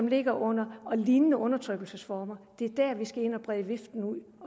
ligger under lignende undertrykkelse så det er der vi skal ind og brede viften ud